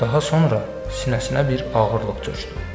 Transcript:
Daha sonra sinəsinə bir ağırlıq çökdü.